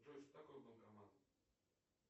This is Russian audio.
джой что такое банкомат